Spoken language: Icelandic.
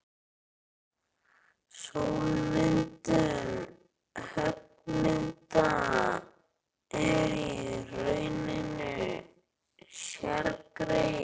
Ljósmyndun höggmynda er í rauninni sérgrein.